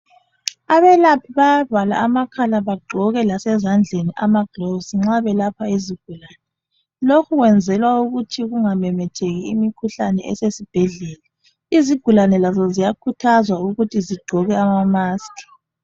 Abelaphi bayavala amakhala bagqoke lasezandleni amagloves nxa belapha izigulane, lokhubkwenzelwa ukuthi kungamemetheki imikhuhlane esesibhedlela. Izigulane lazo ziyakhuthazwa ukuthi zigqoke ama maski